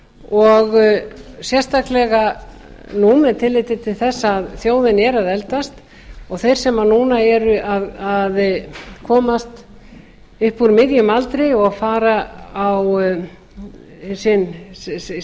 og sérstaklega nú með tilliti til þess að þjóðin er að eldast og þeir sem núna eru að komast upp úr miðjum aldri og fara á sitt